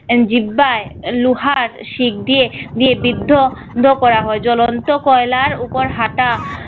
আহ জিব্বায় লোহার শিক দিয়ে বি~ বিদ্ধ বিদ্ধ করা হয়। জ্বলন্ত কয়লার উপর হাঁটা